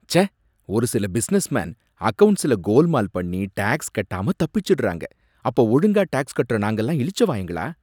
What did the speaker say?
ச்சே! ஒரு சில பிசினஸ்மேன் அக்கவுண்டஸ்ல கோல்மால் பண்ணி டேக்ஸ் கட்டாம தப்பிச்சிடுறாங்க, அப்ப ஒழுங்கா டேக்ஸ் கட்டுற நாங்கலாம் இளிச்சவாயங்களா?